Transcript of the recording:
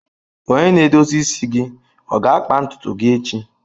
Onye na-edozi isi gị ọ ga-akpa ntutu gị echi?